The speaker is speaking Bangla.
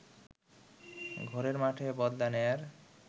ঘরের মাঠে বদলা নেয়ার